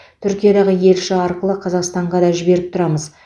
түркиядағы елші арқылы қазақстанға да жіберіп тұрамыз